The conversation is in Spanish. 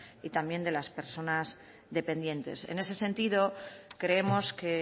y también de las personas dependientes en ese sentido creemos que